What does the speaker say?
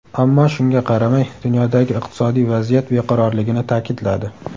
ammo shunga qaramay dunyodagi iqtisodiy vaziyat beqarorligini ta’kidladi.